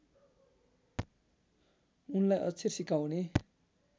उनलाई अक्षर सिकाउने